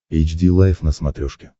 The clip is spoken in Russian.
эйч ди лайф на смотрешке